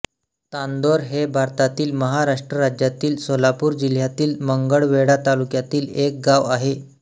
तांदोर हे भारतातील महाराष्ट्र राज्यातील सोलापूर जिल्ह्यातील मंगळवेढा तालुक्यातील एक गाव आहे